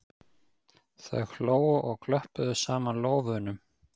Þau hlógu og klöppuðu saman lófunum.